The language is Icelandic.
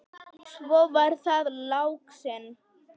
Svo var það laxinn!